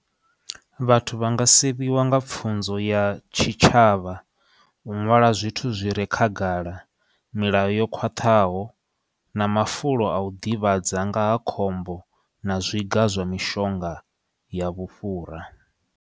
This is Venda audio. Vhathu vha nga sivhiwa nga pfunzo ya tshitshavha u ṅwala zwithu zwi re khagala, milayo yo khwaṱhaho na mafulo au ḓivhadza nga ha khombo na zwiga zwa mishonga ya vhufhura.